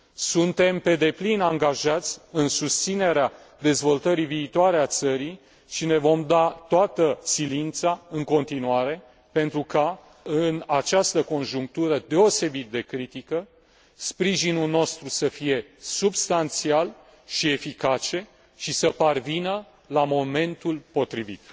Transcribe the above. Suntem pe deplin angajați în susținerea dezvoltării viitoare a țării și ne vom da toată silința, în continuare, pentru ca, în această conjunctură deosebit de critică, sprijinul nostru să fie substanțial și eficace și să parvină la momentul potrivit.